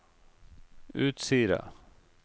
Utsira